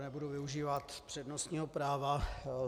Nebudu využívat přednostního práva.